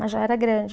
Mas já era grande.